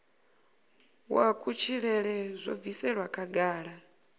wa kutshilele zwo bviselwa khagala